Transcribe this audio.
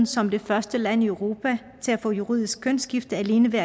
som det første land i europa at få juridisk kønsskifte alene ved